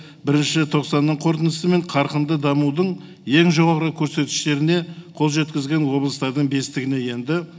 бірінші тоқсанның қорытындысымен қарқынды дамудың ең жоғарғы көрсеткіштеріне қол жеткізген облыстардың бестігіне енді